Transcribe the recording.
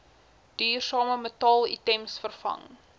duursame metaalitems vervang